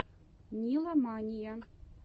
нила мания